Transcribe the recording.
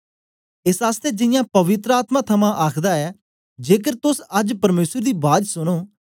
एस आसतै जियां पवित्र आत्मा थमां आखदा ऐ जेकर तोस अज्ज परमेसर दी बाज सुनो